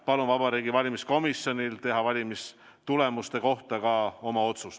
Palun Vabariigi Valimiskomisjonil teha valimistulemuste kohta ka oma otsus.